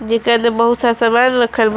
जिकरा में बहुत सा सामान रखल बा।